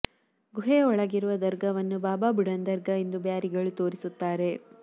ಗುಹೆಯ ಒಳಗಿರುವ ದರ್ಗಾವನ್ನು ಬಾಬಾ ಬುಡಾನ್ ದರ್ಗಾ ಎಂದು ಬ್ಯಾರಿಗಳು ತೋರಿಸುತ್ತಾರೆ